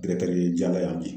ye Jala yan bi